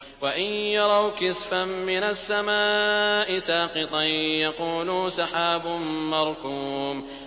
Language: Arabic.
وَإِن يَرَوْا كِسْفًا مِّنَ السَّمَاءِ سَاقِطًا يَقُولُوا سَحَابٌ مَّرْكُومٌ